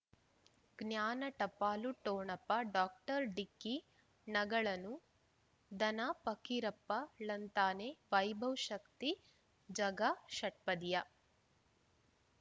ಜ್ಞಾನ ಟಪಾಲು ಠೊಣಪ ಡಾಕ್ಟರ್ ಢಿಕ್ಕಿ ಣಗಳನು ಧನ ಪಕೀರಪ್ಪ ಳಂತಾನೆ ವೈಭವ್ ಶಕ್ತಿ ಝಗಾ ಷಟ್ಪದಿಯ